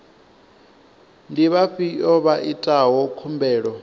ndi vhafhio vha itaho khumbelo